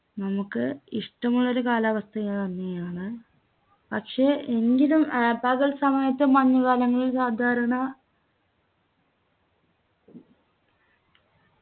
നമുക്ക് ഇഷ്ടമുള്ള ഒരു കാലാവസ്ഥയ തന്നെയാണ് പക്ഷെ എങ്കിലും ഏർ പകൽ സമയത്ത് മഞ്ഞുകാലമെങ്കിൽ സാധാരണ